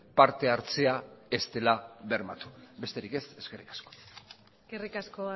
partehartzea ez dela bermatu besterik ez eskerrik asko eskerrik asko